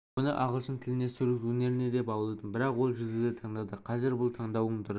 оны ағылшын тіліне сурет өнеріне де баулыдым бірақ ол жузуді таңдады қазір бұл таңдаудың дұрыс